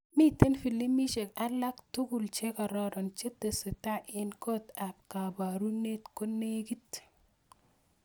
Miten filimishek alak tugul chekararan chetesetai en kot ab kabarunet konegit